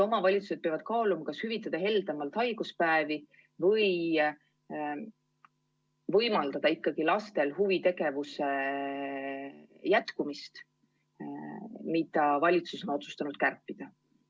Omavalitsused peavad kaaluma, kas hüvitada heldemalt haiguspäevi või võimaldada ikkagi lastel huvitegevuse jätkumist, mille raha valitsus on otsustanud kärpida.